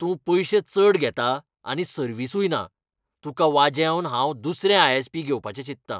तूं पयशें चड घेता आनी सर्विसूय ना, तुका वाजेवन हांव दुसरें आय.एस.पी.घेवपाचें चिंतता.